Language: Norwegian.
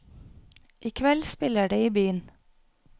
I kveld spiller de i byen.